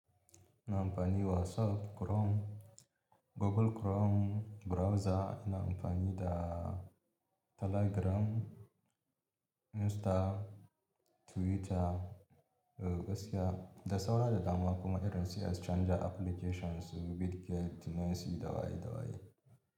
Ina amfani da WhatsApp, Chrome, Google Chrome browser, ina amfani da Telegram, Insta, Twitter, eh gaskiya, da saura da dama kuma irin su exchanger applications, Bitcoin, Tennessi, dawaye dawayei.